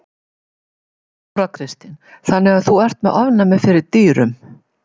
Þóra Kristín: Þannig að þú ert með ofnæmi fyrir dýrum?